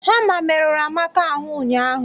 Hama merụrụ Amaka ahụ ụnyaahụ